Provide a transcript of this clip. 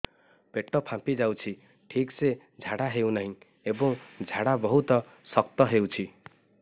ପେଟ ଫାମ୍ପି ଯାଉଛି ଠିକ ସେ ଝାଡା ହେଉନାହିଁ ଏବଂ ଝାଡା ବହୁତ ଶକ୍ତ ହେଉଛି